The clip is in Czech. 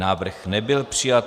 Návrh nebyl přijat.